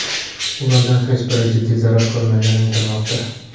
Ulardan hech biri jiddiy zarar ko‘rmagani aytilmoqda.